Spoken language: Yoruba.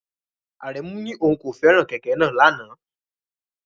Aremu ní òun kò fẹ́ràn kẹ̀kẹ́ náà lánàá.